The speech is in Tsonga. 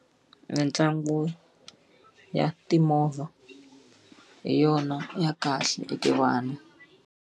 Mitlangu ya timovha hi yona ya kahle eka vana.